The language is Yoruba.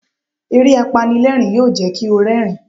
Eré apanilẹ́rìń yóò jẹ́ kí o rẹ́rìń.